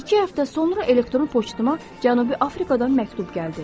İki həftə sonra elektron poçtuma Cənubi Afrikadan məktub gəldi.